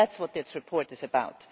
That is what this report is about.